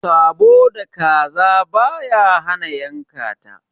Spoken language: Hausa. Sabo da kaza baya hana a yanka.